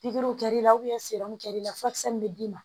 Pikiri kɛra i la i la furakisɛ min bɛ d'i ma